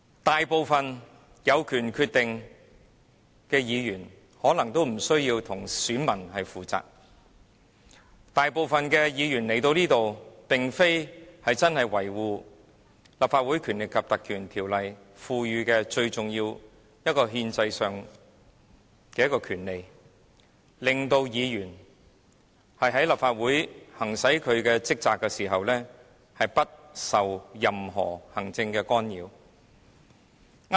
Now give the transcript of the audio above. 大部分有此決定權的議員可能皆無需要向選民負責，而這裏大部分議員加入議會的目的，並非真的為了維護《立法會條例》賦予我們的最重要憲制權利，讓議員在立法會行使職責時可不受任何行政干擾。